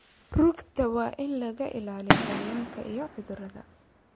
Rugta waa in laga ilaaliyo cayayaanka iyo cudurrada.